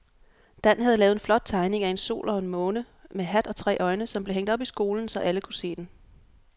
Dan havde lavet en flot tegning af en sol og en måne med hat og tre øjne, som blev hængt op i skolen, så alle kunne se den.